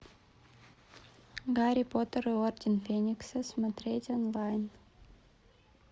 гарри поттер и орден феникса смотреть онлайн